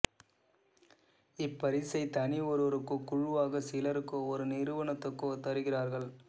இப்பரிசை தனி ஒருவருக்கோ குழுவாக சிலருக்கோ ஒரு நிறுவனத்துக்கோ தருகிறார்கள்